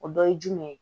O dɔ ye jumɛn ye